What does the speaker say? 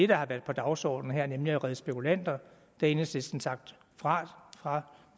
der har været på dagsordenen her nemlig at redde spekulanter har enhedslisten sagt fra fra